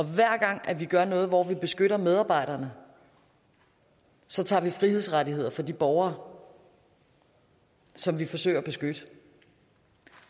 hver gang vi gør noget hvor vi beskytter medarbejderne så tager vi frihedsrettigheder fra de borgere som vi forsøger at beskytte